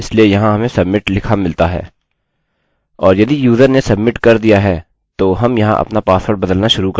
और यदि यूज़र ने सब्मिट कर दिया है तो हम यहाँ अपना पासवर्ड बदलना शुरू कर सकते हैं